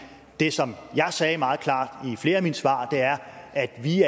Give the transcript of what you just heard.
det som jeg sagde meget klart i flere af mine svar er at vi